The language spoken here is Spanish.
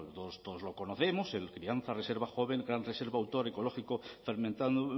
bueno todos lo conocemos el crianza reserva joven gran reserva autor ecológico fermentado